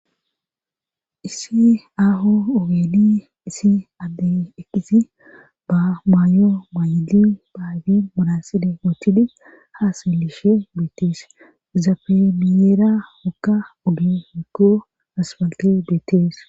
issi aaho ooweli isi adde ekisi ba maayo maay7ili baayfi modaside wootidi haaselishe beettees zafemiyeera wokka udu mikko aspalte beettees